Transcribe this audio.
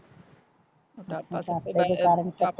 ਮੋਟਾਪਾ ਇਹਦੇ ਕਾਰਨ